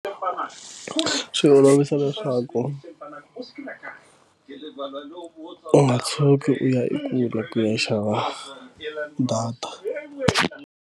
Swi olovise leswaku vana hi rivala loko u nga tshuki u ya i kule ku ya xava data.